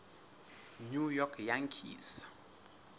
new york yankees